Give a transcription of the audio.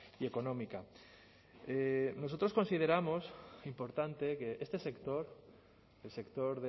y económica nosotros consideramos importante que este sector el sector